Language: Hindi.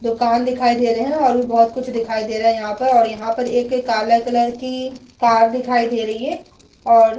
दुकान दिखाई दे रहे हैं और भी बहोत कुछ दिखाई दे रहे हैं यहाँ पर और यहाँ पर एक काला कलर की कार दिखाई दे रही है और --